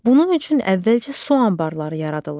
Bunun üçün əvvəlcə su anbarları yaradılır.